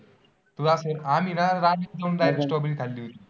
आम्ही ना रात्री बाहेर जाऊन Strawberry खाल्ली होती.